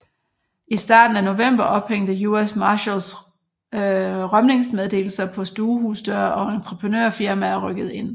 I midten af november ophængte US Marshals rømningsmeddelelser på stuehusdøre og entreprenørfirmaer rykkede ind